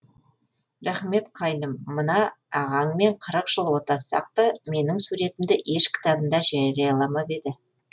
рахмет қайным мына ағаңмен қырық жыл отассақ та менің суретімді еш кітабында жарияламап еді